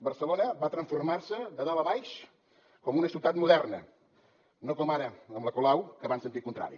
barcelona va transformar se de dalt a baix com una ciutat moderna no com ara amb la colau que va en sentit contrari